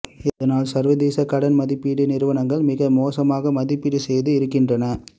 இதனால் சர்வதேச கடன் மதிப்பீட்டு நிறுவனங்கள் மிக மோசமாக மதிப்பீடு செய்து இருக்கின்றன